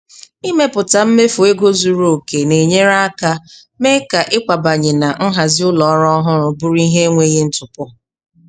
Ịmepụta mmefu ego zuru oke na-enyere aka mee ka ịkwabanye na nhazi ụlọ ọhụrụ bụrụ ihe enweghị ntụpọ.